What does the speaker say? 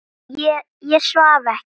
Ég svaf ekki.